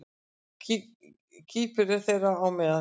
Kýpur er þeirra á meðal.